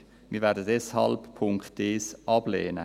Wir werden deshalb den Punkt 1 ablehnen.